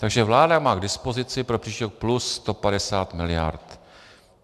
Takže vláda má k dispozici pro příští rok plus 150 miliard.